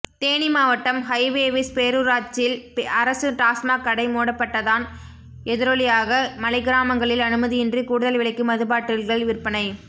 தேனி மாவட்டம் ஹைவேவிஸ் பேரூராட்சில் அரசு டாஸ்மாக் கடை மூடப்பட்டதான் எதிரொலியாக மலைக்கிராமங்களில் அனுமதியின்றி கூடுதல் விலைக்கு மதுபாட்டிகள் விற்பனை